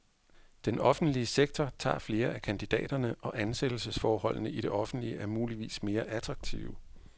Den offentlige sektor tager flere af kandidaterne, og ansættelsesforholdene i det offentlige er muligvis mere attraktive.